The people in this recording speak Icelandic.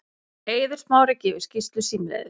Eiður Smári gefur skýrslu símleiðis